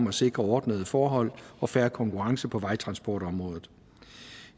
at sikre ordnede forhold og fair konkurrence på vejtransportområdet